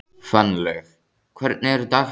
Fannlaug, hvernig er dagskráin?